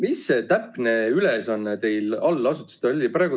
Mis see täpne ülesanne teil allasutustele oli?